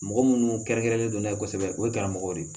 Mɔgɔ munnu kɛrɛn kɛrɛnlen do n'a ye kosɛbɛ o ye karamɔgɔ de ye